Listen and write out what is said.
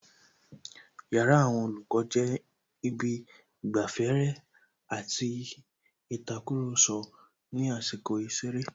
Yàrá àwon Olòkó jé Ibi īgbaféré àti ītakùròso ní àsīkò īseré